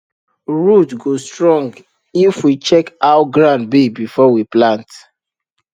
root go strong if we check how ground be before we plant